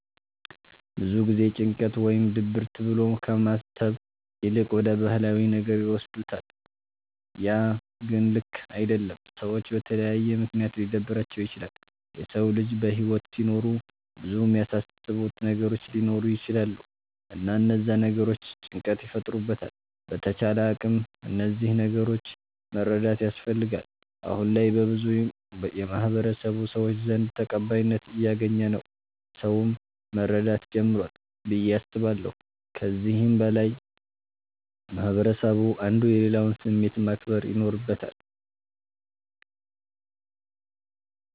ብዙ ጊዜ ጭንቀት ወይም ድብርት ብሎ ከማሰብ ይልቅ ወደ ባህላዊ ነገር ይወስዱታለ ያ ግን ልክ አደለም። ሰዎች በተለያየ ምክንያት ሊደብራቸዉ ይችላል። የሰዉ ልጅ በህይወት ሲኖር ብዙ የሚያሳስቡት ነገሮች ሊኖሩ ይቸላሉ እና እነዛ ነገሮች ጭንቀት ይፈጥሩበታል በተቻለ አቅም እነዚህን ነገሮች መረዳት ያስፈልጋል። አሁነ ላይ በብዙ የማህበረሰቡ ሰዎች ዘንድ ተቀባይነት እያገኝ ነዉ ሰዉም መረዳት ጀምሯል ብዬ አስባለሁ። ከዚህም በላይ ማህበረስቡ አንዱ የሌላዉን ስሜት ማክበር ይኖርበታል።